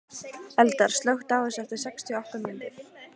Eldar, slökktu á þessu eftir sextíu og átta mínútur.